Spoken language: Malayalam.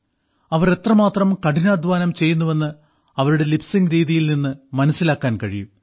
അവർ എത്രമാത്രം കഠിനാധ്വാനം ചെയ്യുന്നുവെന്ന് അവരുടെ ലിപ് സിങ്ക് രീതിയിൽ നിന്ന് മനസ്സിലാക്കാൻ കഴിയും